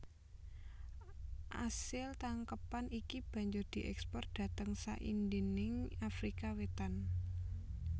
Asil tangkepan iki banjur dièkspor dhateng saindhenging Afrika Wétan